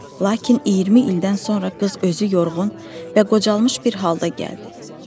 Lakin 20 ildən sonra qız özü yorulğan və qocalmış bir halda gəldi.